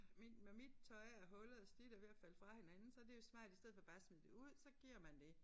Mit når mit tøj er hullet og slidt og ved at falde fra hinanden så det jo smart i stedet for bare at smide det ud så giver man det